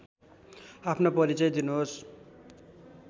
आफ्नो परिचय दिनुहोस्